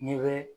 N'i bɛ